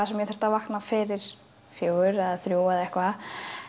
sem ég þurfti að vakna fyrir fjögur eða þrjú eða eitthvað